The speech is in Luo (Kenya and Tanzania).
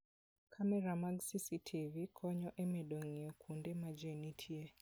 Kamera mag CCTV konyo e medo ng'iyo kuonde ma ji nitie.